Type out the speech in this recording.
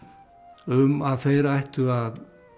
um að þeir ættu að